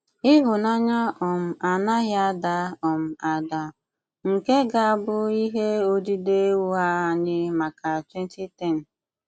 Ìhụ̀nànyà um ànàghì àdà um àdà, ’ nke gà-àbụ̀ ìhè òdídè ụ́ghà ànyị màkà 2010.